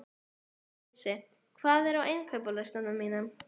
Jónsi, hvað er á innkaupalistanum mínum?